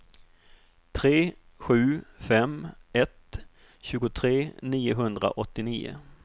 tre sju fem ett tjugotre niohundraåttionio